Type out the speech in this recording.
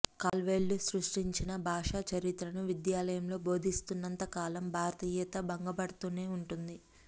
Caldwell సృష్టించిన భాషా చరిత్రను విద్యాలయంలో బోధిస్తున్నంత కాలం భారతీయత భంగపడుతూనే ఉంటుంది